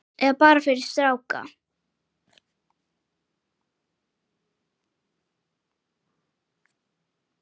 Eða bara fyrir stráka!